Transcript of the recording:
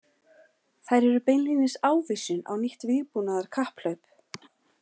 Þær eru beinlínis ávísun á nýtt vígbúnaðarkapphlaup.